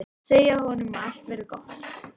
Segja honum að allt verði gott.